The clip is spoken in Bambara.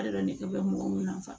ne bɛ mɔgɔ min na fa